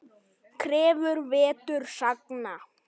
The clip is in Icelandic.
Krefur vetur sagna.